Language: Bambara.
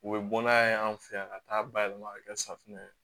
U bɛ bɔ n'a ye an fɛ yan ka taa bayɛlɛma ka kɛ safunɛ ye